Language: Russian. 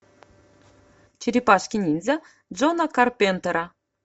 черепашки ниндзя джона карпентера